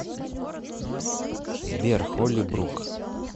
сбер холли брук